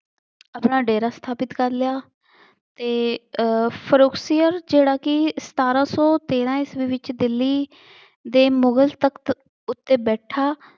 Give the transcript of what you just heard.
ਆਪਣਾ ਡੇਰਾ ਸਥਾਪਿਤ ਕਰ ਲਿਆ ਅਤੇ ਅਹ ਫਰੂਕਸੀਅਤ ਜਿਹੜਾ ਕਿ ਸਤਾਰਾਂ ਸੌ ਤੇਰਾਂ ਈਸਵੀ ਵਿੱਚ ਦਿੱਲੀ ਦੇ ਮੁਗਲ ਤਖਤ ਉੱਤੇ ਬੈਠਾ